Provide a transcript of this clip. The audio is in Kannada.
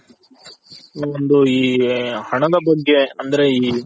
ಒಂದು ಈ ಹಣದ ಬಗ್ಗೆ ಅಂದ್ರೆ ಈ